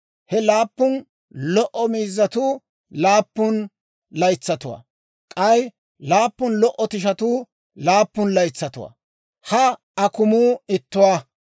He laappun lo"o miizzatuu laappun laytsatuwaa; k'ay laappun lo"o tishatuu laappun laytsatuwaa; ha akumuu ittuwaa.